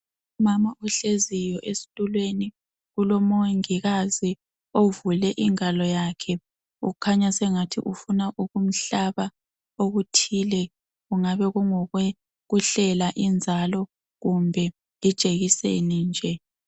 Umama ohleziyo ezitulweni. Kulomongikazi ovule ingalo yakhe khanya sengani ufuna ukumalba okuthile kungabe kungokokuhlela inzalo kumbe ijekiseni nje.